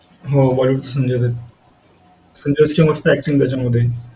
अंगणवाडीत आम्ही जायचो पाटी पेन्सिल वगैरे घेऊन